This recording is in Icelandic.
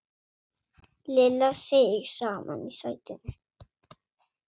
Lilla seig saman í sætinu.